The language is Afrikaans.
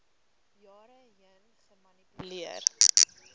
jare heen gemanipuleer